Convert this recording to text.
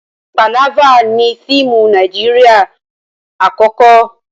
Pàlávà ni fíìmù Nàíjírìà àkọ́kọ́.